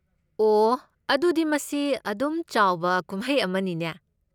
ꯑꯣꯍ, ꯑꯗꯨꯗꯤ ꯃꯁꯤ ꯑꯗꯨꯝ ꯆꯥꯎꯕ ꯀꯨꯝꯍꯩ ꯑꯃꯅꯤꯅꯦ꯫